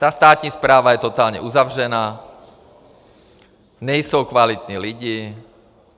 Ta státní správa je totálně uzavřená, nejsou kvalitní lidi.